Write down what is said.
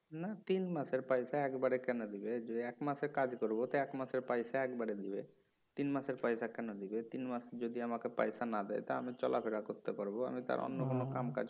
না তিনমাসের পয়সা একবারে কেন দিবে যদি একমাসের কাজ করুম ও তো একমাসের পয়সা একবারে দিবে তিনমাসের পয়সা কেন দিবে তিনমাস যদি আমাকে পয়সা না দেয় তা আমি চলাফেরা করতে পারবো আমি তো আর অন্য কোন কাম কাজ